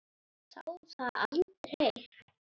Sá það aldrei